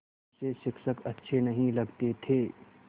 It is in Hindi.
उसे शिक्षक अच्छे नहीं लगते थे